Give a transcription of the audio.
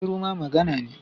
Shuru ma magana ne.